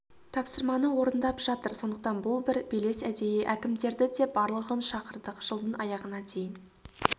тапсырманы орындап жатыр сондықтан бұл бір белес әдейі әкімдерді де барлығын шақырдық жылдың аяғына дейін